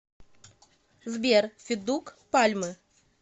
сбер федук пальмы